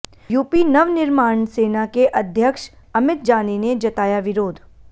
UP नवनिर्माण सेना के अध्यक्ष अमित जानी ने जताया विरोध